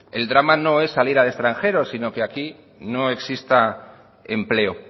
el drama no es salir al extranjero sino que aquí no exista empleo